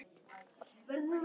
Þannig varð keppnin fyrst til.